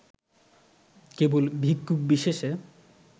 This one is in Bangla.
কেবল ভিক্ষুক বিশেষে